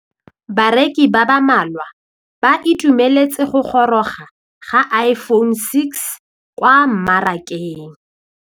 Bareki ba ba malwa ba ituemeletse go gôrôga ga Iphone6 kwa mmarakeng.